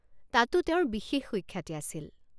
তাতো তেওঁৰ বিশেষ সুখ্যাতি আছিল।